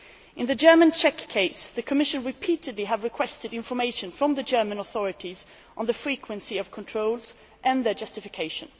In the German Czech case, the Commission has repeatedly requested information from the German authorities on the frequency of controls and their justification.